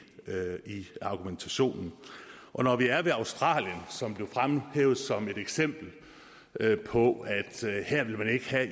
argumentationen når vi er ved australien som blev fremhævet som et eksempel på at her ville man ikke have